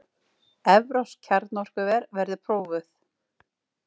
Evrópsk kjarnorkuver verði prófuð